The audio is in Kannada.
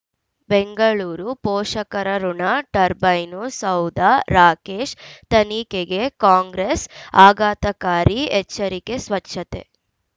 ಬೆಂಗಳೂರು ಪೋಷಕರಋಣ ಟರ್ಬೈನು ಸೌಧ ರಾಕೇಶ್ ತನಿಖೆಗೆ ಕಾಂಗ್ರೆಸ್ ಆಘಾತಕಾರಿ ಎಚ್ಚರಿಕೆ ಸ್ವಚ್ಛತೆ